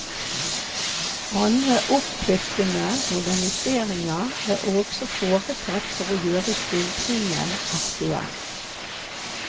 Andre oppkvikkende moderniseringer er også foretatt for å gjøre skildringen aktuell.